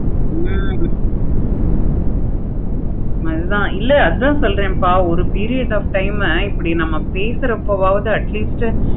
ஹம் அது தான் அது தான் சொல்ரேன்ப்பா ஒரு period of time ல இப்படி நம்ம பேசுறதுப்பாவது atleast